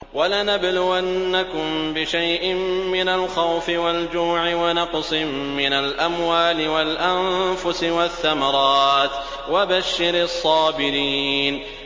وَلَنَبْلُوَنَّكُم بِشَيْءٍ مِّنَ الْخَوْفِ وَالْجُوعِ وَنَقْصٍ مِّنَ الْأَمْوَالِ وَالْأَنفُسِ وَالثَّمَرَاتِ ۗ وَبَشِّرِ الصَّابِرِينَ